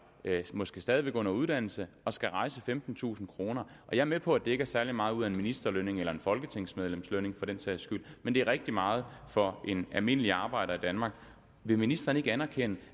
måske stadig væk under uddannelse og skal rejse femtentusind kroner jeg er med på at det ikke er særlig meget ud af en ministerlønning eller et folketingsmedlems lønning for den sags skyld men det er rigtig meget for en almindelig arbejder i danmark vil ministeren ikke anerkende